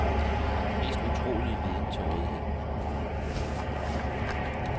Vi har den mest utrolige viden til rådighed.